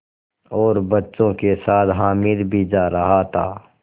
और बच्चों के साथ हामिद भी जा रहा था